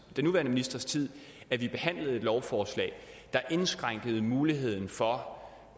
nuværende ministers tid vi behandlede et lovforslag der indskrænkede muligheden for